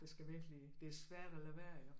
De tskal virkelig det er svært at lade være iggå